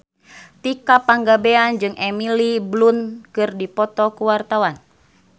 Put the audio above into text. Tika Pangabean jeung Emily Blunt keur dipoto ku wartawan